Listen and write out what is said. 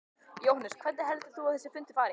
Jóhannes: Hvernig heldur þú að þessi fundur fari?